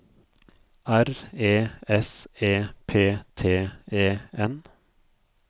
R E S E P T E N